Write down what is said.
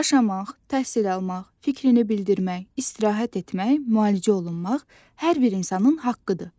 Yaşamaq, təhsil almaq, fikrini bildirmək, istirahət etmək, müalicə olunmaq hər bir insanın haqqıdır.